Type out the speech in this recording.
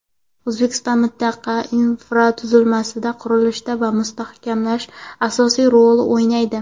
O‘zbekiston mintaqa infratuzilmasini qurishda va mustahkamlashda asosiy rolni o‘ynaydi.